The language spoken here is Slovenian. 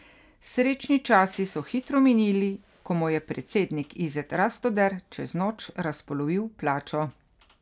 Srečni časi so hitro minili, ko mu je predsednik Izet Rastoder čez noč razpolovil plačo.